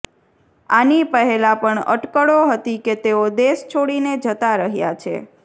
આની પહેલાં પણ અટકળો હતી કે તેઓ દેશ છોડીને જતા રહ્યા છે